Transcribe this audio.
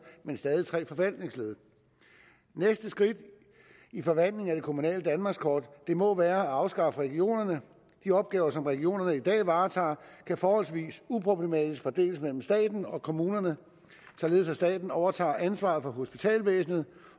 men stadig tre forvaltningsled næste skridt i forvandlingen af det kommunale danmarkskort må være at afskaffe regionerne de opgaver som regionerne i dag varetager kan forholdsvis uproblematisk fordeles mellem staten og kommunerne således at staten overtager ansvaret for hospitalsvæsenet